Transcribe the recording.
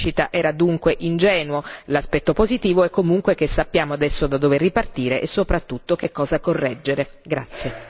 Aspettarsi una crescita era dunque ingenuo l'aspetto positivo è comunque che sappiamo adesso da dove ripartire e soprattutto che cosa correggere.